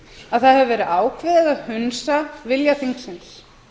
að það hefur verið ákveðið að hunsa vilja þingsins